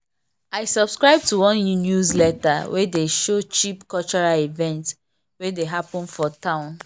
i subscribe to one newsletter wey dey show cheap cultural events wey dey happen for town.